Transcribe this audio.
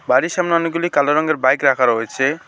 বাড়ির সামনে অনেকগুলি কালো রঙের বাইক রাখা রয়েছে।